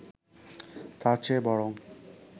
তার চেয়ে বরং